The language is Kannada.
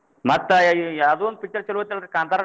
ಮತ್ತ್ ಯಾ~ ಯಾ~ ಯಾವಾದೋ ಒಂದ picture ಚೊಲೋ ಐತಿ ಅಲ್ರೀ ಕಾಂತಾರ?